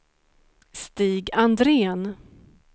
Stig Andrén